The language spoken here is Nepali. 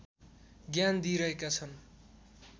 ज्ञान दिइरहेका छन्